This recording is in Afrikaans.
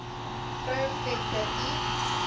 vrou venter l